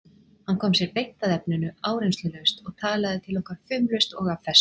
Hann kom sér beint að efninu, áreynslulaust og talaði til okkar fumlaust og af festu.